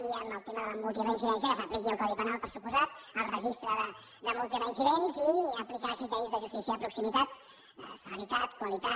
i en el tema de la multireincidència que s’apliqui el codi penal per descomptat el registre de multireincidents i aplicar criteris de justícia de proximitat cele ritat qualitat